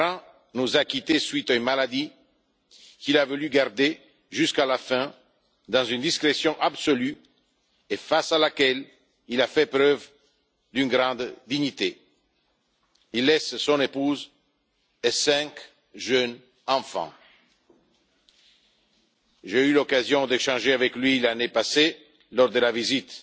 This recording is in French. Ferrand nous a quittés à la suite d'une maladie qu'il a voulu garder jusqu'à la fin dans une discrétion absolue et face à laquelle il a fait preuve d'une grande dignité. Il laisse une épouse et cinq jeunes enfants. J'ai eu l'occasion d'échanger avec lui, l'année passée, lors de la visite